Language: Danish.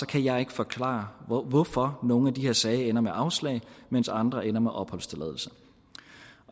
kan jeg ikke forklare hvorfor nogle af de her sager ender med afslag mens andre ender med opholdstilladelse